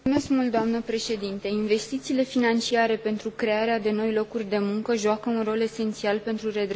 Investițiile financiare pentru crearea de noi locuri de muncă joacă un rol esențial pentru redresarea economică.